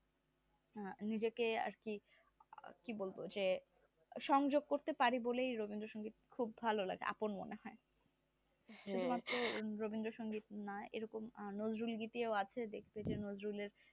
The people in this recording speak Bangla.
নিজেকে আর কি কি বলবো যে সংযোগ করতে পারি বলেই রবীন্দ্র সংগীত খুব ভালো লাগে আপন মনে হয়। শুধু মাত্র রবীন্দ্র সংগীত নয় এরকম নজরুলগীতিও আছে দেখতে নজরুলের